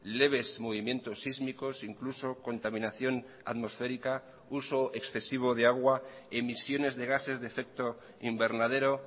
leves movimientos sísmicos incluso contaminación atmosférica uso excesivo de agua emisiones de gases de efecto invernadero